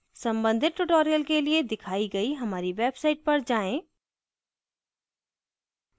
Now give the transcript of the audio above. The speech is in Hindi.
संबंधित tutorials के लिए दिखाई गई हमारी website पर जाएँ